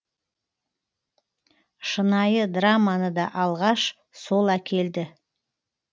шынайы драманы да алғаш сол әкелді